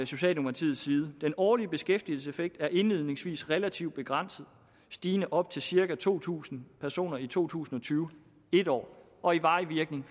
socialdemokratiets side den årlige beskæftigelseseffekt er indledningsvis relativt begrænset og stigende op til cirka to tusind personer i to tusind og tyve i en år og i varig virkning